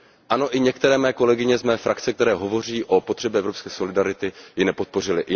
Ano, i některé mé kolegyně z mé frakce, které hovoří o potřebě evropské solidarity, ji nepodpořily.